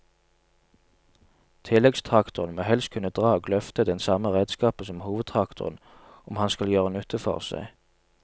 Tilleggstraktoren må helst kunne dra og løfte den samme redskapen som hovedtraktoren om han skal gjøre nytte for seg.